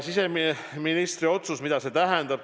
Siseministri otsus, mida see tähendab?